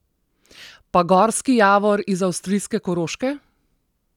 Pa gorski javor iz avstrijske Koroške?